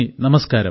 നമസ്കാരം